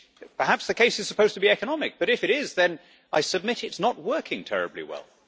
Perhaps the case is supposed to be economic, but if it is then I submit it is not working terribly well.